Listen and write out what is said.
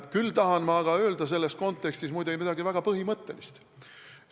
Küll aga tahan ma selles kontekstis öelda midagi väga põhimõttelist.